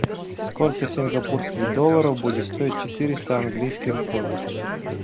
сколько сингапурских долларов будет стоить четыреста английских фунтов